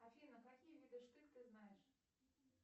афина какие виды штык ты знаешь